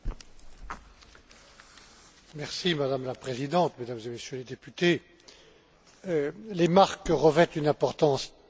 Madame la Présidente, Mesdames et Messieurs les députés, les marques revêtent une importance réelle dans le commerce moderne.